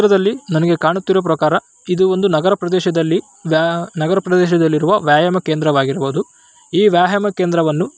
ತ್ರದಲ್ಲಿ ನನಗೆ ಕಾಣುತ್ತಿರುವ ಪ್ರಕಾರ ಇದು ಒಂದು ನಗರ ಪ್ರದೇಶದಲ್ಲಿ ಬ್ಯಾ ನಗರ ಪ್ರದೇಶದಲ್ಲಿರುವ ವ್ಯಾಯಾಮ ಕೇಂದ್ರವಾಗಿರಬಹುದು. ಈ ವ್ಯಾಯಾಮ ಕೇಂದ್ರವನ್ನು --